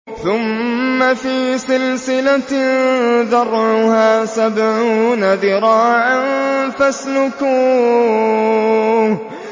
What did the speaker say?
ثُمَّ فِي سِلْسِلَةٍ ذَرْعُهَا سَبْعُونَ ذِرَاعًا فَاسْلُكُوهُ